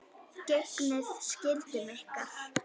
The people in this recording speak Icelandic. Gegnið skyldum ykkar!